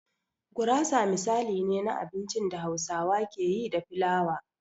Gurasa misali ne na abincin da Hausawa ke yi da filawa.